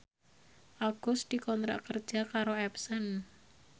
Agus dikontrak kerja karo Epson